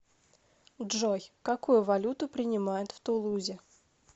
джой какую валюту принимают в тулузе